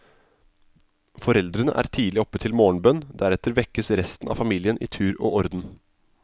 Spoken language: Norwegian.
Foreldrene er tidlig oppe til morgenbønn, deretter vekkes resten av familien i tur og orden.